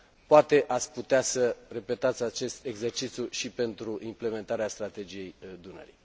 Poate ați putea să repetați acest exercițiu și pentru implementarea Strategiei Dunării.